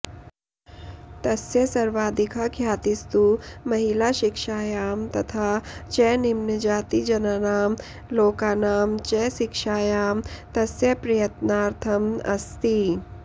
तस्य सर्वाधिका ख्यातिस्तु महिलाशिक्षायां तथा च निम्नजातिजनानां लोकानां च शिक्षायां तस्य प्रयत्नार्थं अस्ति